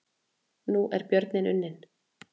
Nú er björninn unninn